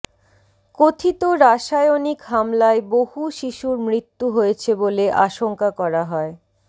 কথিত রাসায়নিক হামলায় বহু শিশুর মৃত্যু হয়েছে বলে আশংকা করা হয়